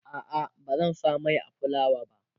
a'a bazan sa Mai a fulawa ba